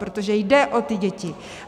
Protože jde o ty děti.